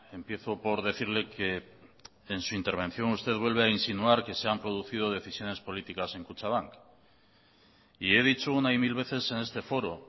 empiezo por decirle que en su intervención usted vuelve a insinuar que se han producido decisiones políticas en kutxabank y he dicho una y mil veces en este foro